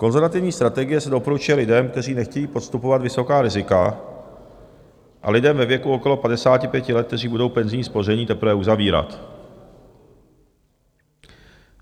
Konzervativní strategie se doporučuje lidem, kteří nechtějí podstupovat vysoká rizika, a lidem ve věku okolo 55 let, kteří budou penzijní spoření teprve uzavírat.